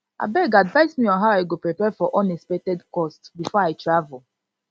abeg advice me on how i go prepare for unexpected cost before i travel